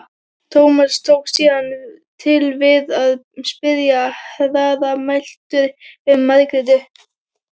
Tómas tók síðan til við að spyrja hraðmæltur um Margréti.